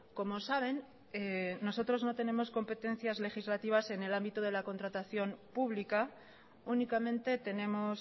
como saben nosotros no tenemos competencias legislativas en el ámbito de contratación pública únicamente tenemos